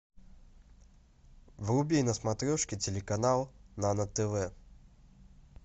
вруби на смотрешке телеканал нано тв